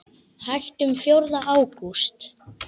Hættum fjórða ágúst.